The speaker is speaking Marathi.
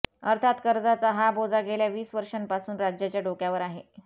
अर्थात कर्जाचा हा बोजा गेल्या वीस वर्षांपासून राज्याच्या डोक्यावर आहे